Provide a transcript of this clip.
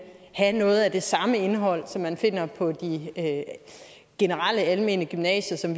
have noget af det samme indhold som man finder på det generelle almene gymnasium